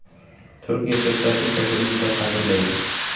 Turk erkaklari esa buni juda qadrlaydi.